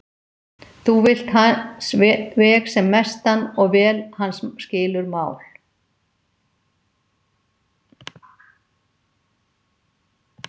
Þú vilt hans veg sem mestan og vel hans skilur mál.